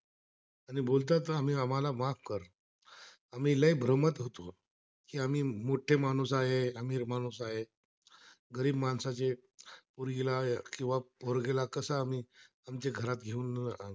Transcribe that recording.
आम्हाला माफ कर, आम्ही ब्राह्मण होतो की आम्ही मोठे माणूस आहे, आम्ही माणूस आहे, गरी माणसा जे पूर्वीला किंवा पोरगेला कसं आम्ही आमचे घरात येऊन राहणार